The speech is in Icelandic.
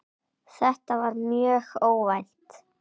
Þetta var mjög óvænt.